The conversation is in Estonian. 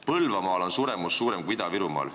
Põlvamaal on suremus suurem kui Ida-Virumaal.